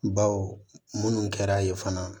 Baw minnu kɛra yen fana